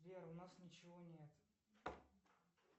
сбер у нас ничего нет